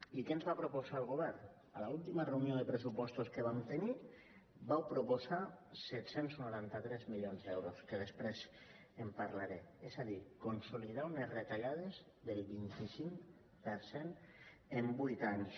i què ens va proposar el govern a l’última reunió de pressupostos que vam tenir vau proposar set cents i noranta tres milions d’euros que després en parlaré és a dir consolidar unes retallades del vint cinc per cent en vuit anys